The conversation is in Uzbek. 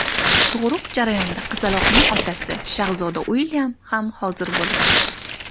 Tug‘uruq jarayonida qizaloqning otasi, shahzoda Uilyam ham hozir bo‘lgan.